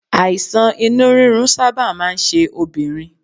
Àìsàn inú rírun sábà máa ń ṣe obìnrin